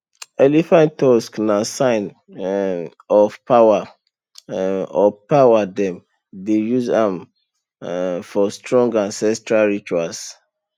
elephant tusk na sign um of power um of power dem dey use am um for strong ancestral rituals